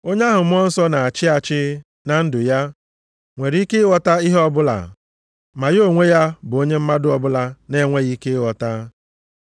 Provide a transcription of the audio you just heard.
Onye ahụ Mmụọ Nsọ na-achị achị na ndụ ya, nwere ike ịghọta ihe ọbụla ma ya onwe ya bụ onye mmadụ ọbụla na-enweghị ike ịghọta.